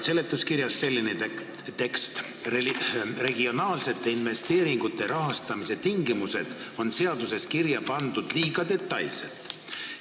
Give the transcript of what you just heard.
Seletuskirjas on selline tekst: "Regionaalsete investeeringute rahastamise tingimused on seaduses kirja pandud liiga detailselt.